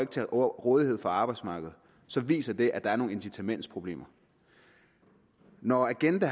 til rådighed for arbejdsmarkedet så viser det at der er nogle incitamentsproblemer når agenda